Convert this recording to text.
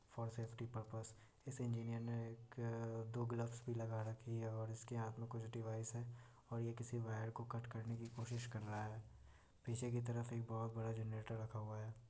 For safety purpose इस engineer ने एक-दो ग्लव्स भी लगा रखी है और इसके हाथ में कुछ डिवाइस है और ये किसी वायर को कट करने की कोशिश कर रहा है पीछे की तरफ एक बहुत बड़ा जनरेटर रखा हुआ हैं।